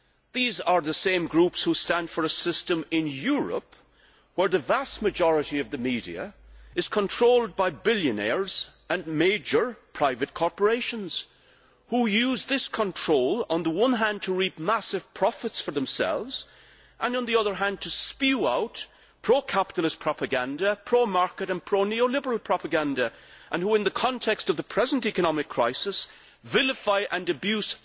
These are the same groups that stand for a system in Europe where the vast majority of the media is controlled by billionaires and major private corporations, who use this control on the one hand to reap massive profits for themselves and on the other hand to spew out pro capitalist propaganda, pro market and pro neoliberal propaganda who, in the context of the present economic crisis, vilify and abuse